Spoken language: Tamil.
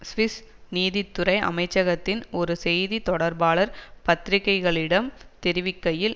சுவிஸ் நீதித்துறை அமைச்சகத்தின் ஒரு செய்தி தொடர்பாளர் பத்திரிக்கைகளிடம் தெரிவிக்கையில்